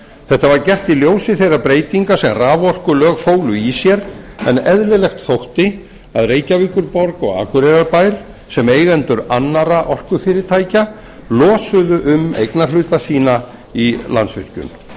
þetta var gert í ljósi þeirra breytinga sem raforkulög fólu í sér en eðlilegt þótti að reykjavíkurborg og akureyrarbær sem eigendur annarra orkufyrirtækja losuðu um eignarhluta sína í landsvirkjun í